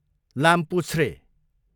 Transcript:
लामपुच्छ्रे